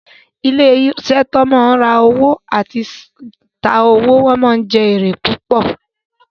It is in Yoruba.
Ilé iṣẹ́ tí wọ́n ma ń ra owó àti ta owó ma ń jẹ́ èrè púpọ̀